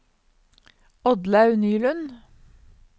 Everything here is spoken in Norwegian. Oddlaug Nylund